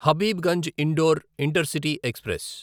Habibganj Indore intercity express